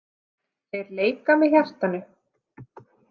Þeir leika með hjartanu.